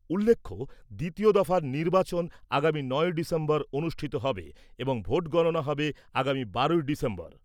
উল্লেখ্য, দ্বিতীয় দফার নির্বাচন আগামী নয়ই ডিসেম্বর অনুষ্ঠিত হবে এবং ভোট গণনা হবে আগামী বারোই ডিসেম্বর।